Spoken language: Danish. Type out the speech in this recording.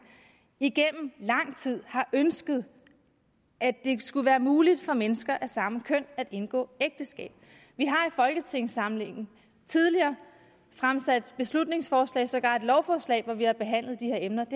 igennem lang tid har ønsket at det skulle være muligt for mennesker af samme køn at indgå ægteskab vi har i folketingssamlingen tidligere fremsat beslutningsforslag sågar et lovforslag hvor vi har behandlet de her emner det